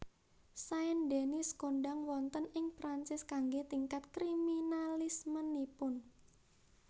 Saint Denis kondhang wonten ing Perancis kanggé tingkat kriminalismenipun